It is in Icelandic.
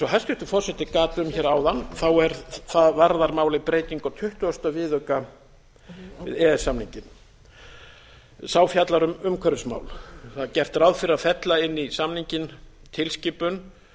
hæstvirtur forseti gat um hér áðan varðar málið breytingu á tuttugasta viðauka e e s samningsins sá fjallar um umhverfismál það er gert ráð fyrir að fella inn í samninginn tilskipun